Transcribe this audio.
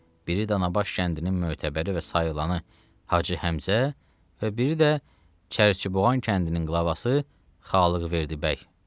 Biri Danabaş kəndinin mötəbəri və sayılanı Hacı Həmzə və biri də Çərçiboğan kəndinin qlavvası Xalıqverdi bəy.